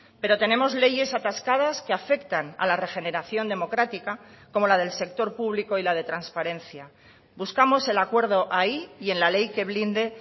pero tenemos leyes atascadas que afectan a la regeneración democrática como la del sector público y la de transparencia buscamos el acuerdo ahí y en la ley que blinde